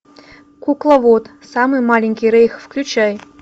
кукловод самый маленький рейх включай